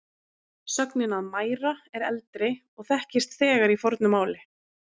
Sögnin að mæra er eldri og þekkist þegar í fornu máli.